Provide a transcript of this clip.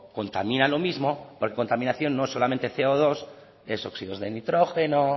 contaminan lo mismo porque contaminación no es solo ce o dos son óxidos de nitrógeno